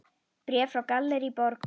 Bréf frá Gallerí Borg.